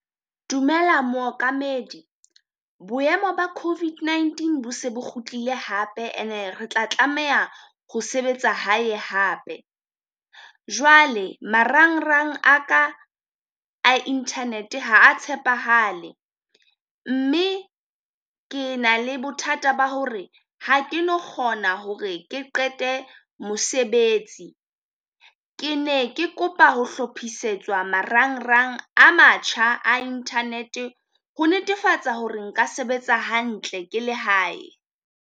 Dumela mookamedi boemo ba COVID-19 bo se bo kgutlile hape and-e re tla tlameha ho sebetsa hae hape. Jwale marangrang a ka inthanete ha a tshepahale, mme ke na le bothata ba hore ha ke no kgona hore ke qete mosebetsi. Ke ne ke kopa ho hlophisetswa marangrang a matjha a inthanete ho netefatsa hore nka sebetsa hantle ke la hae.